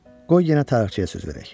Qoy yenə tarixçiyə söz verək.